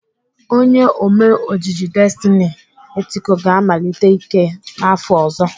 Onye Ome ojiji Destiny Etiko ga-emelite ike ya n'afọ ọzọ.